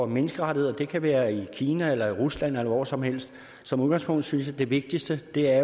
menneskerettigheder det kan være i kina eller i rusland eller hvor som helst som udgangspunkt synes jeg det vigtigste er